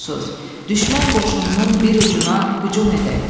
Düşmən qoşununun bir ucuna hücum edək.